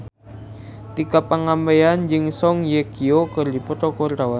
Tika Pangabean jeung Song Hye Kyo keur dipoto ku wartawan